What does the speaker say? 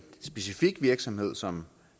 specifik virksomhed som